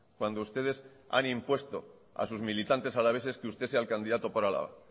cuando ustedes han impuesto a sus militantes alaveses que usted sea el candidato por álava